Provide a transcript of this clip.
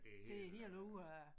Det er helt ude af